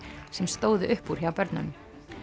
sem stóðu upp úr hjá börnunum